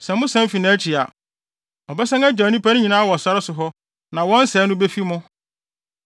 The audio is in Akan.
Sɛ mosan fi nʼakyi a, ɔbɛsan agyaw ne nnipa no nyinaa wɔ sare so hɔ na wɔn sɛe no befi mo.”